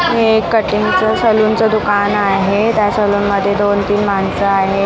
हे कटिंगचं सलूनचं दुकान आहे त्या सलून मध्ये दोन तीन माणसं आहेत.